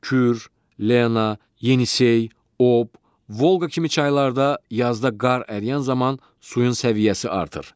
Kür, Lena, Yenisey, Ob, Volqa kimi çaylarda yazda qar əriyən zaman suyun səviyyəsi artır.